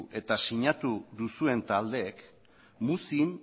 eta sinatu duzuen taldeek muzin